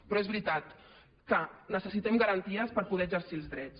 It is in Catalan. però és veritat que necessitem garanties per poder exercir els drets